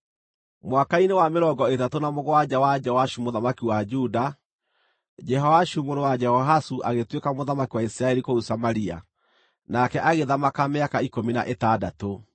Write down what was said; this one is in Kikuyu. Mwaka-inĩ wa mĩrongo ĩtatũ na mũgwanja wa Joashu mũthamaki wa Juda, Jehoashu mũrũ wa Jehoahazu agĩtuĩka mũthamaki wa Isiraeli kũu Samaria, nake agĩthamaka mĩaka ikũmi na ĩtandatũ.